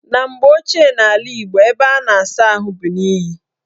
Na mgbe ochie n' ala Igbo, ebe a na-asa ahụ bụ n' iyi.